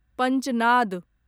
पंचनाद